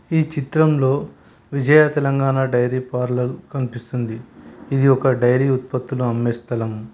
ఈ చిత్రంలో Vijaya Telangana dairy parlour కనిపిస్తుంది ఇది ఒక డైరీ ఉత్పత్తుల అమ్మే స్థలం.